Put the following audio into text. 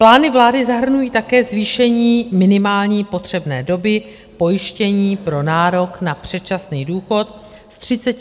Plány vlády zahrnují také zvýšení minimální potřebné doby pojištění pro nárok na předčasný důchod z 35 na 40 let.